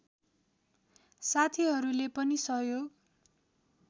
साथीहरूले पनि सहयोग